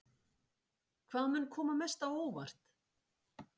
Hvað mun koma mest á óvart?